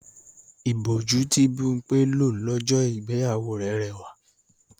Ìbòjú tí Bímpé lò lọ́jọ́ ìgbéyàwó rẹ̀ rẹwà